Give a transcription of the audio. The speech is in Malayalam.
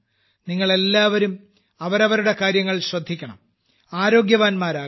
നിങ്ങൾ എല്ലാവരും അവരവരുടെ കാര്യങ്ങൾ ശ്രദ്ധിക്കണം ആരോഗ്യവാന്മാരാകണം